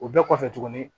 O bɛɛ kɔfɛ tuguni